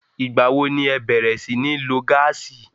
Ìgbà wo ni ẹ bẹ̀rẹ̀ sí ní lo gáàsì?